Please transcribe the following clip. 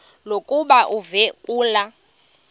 lokuba uve kulaa